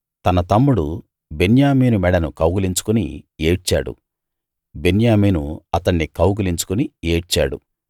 తన తమ్ముడు బెన్యామీను మెడను కౌగలించుకుని ఏడ్చాడు బెన్యామీను అతణ్ణి కౌగలించుకుని ఏడ్చాడు